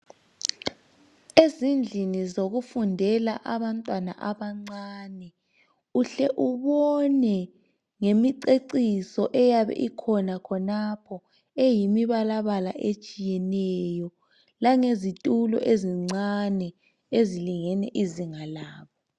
Ezindlini zokufundela abantwana abancane uhle ubone ngemiceciso eyabe ikhona khonapho eyimibalabala etshiyeneyo lange zitulo ezincane ezilingene izinga labo.